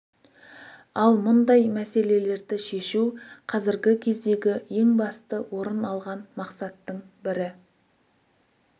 ал мұндай мәселелерді шешу қазіргі кездегі ең басты орын алған мақсаттың бірі